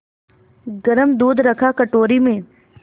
गरम दूध रखा कटोरी में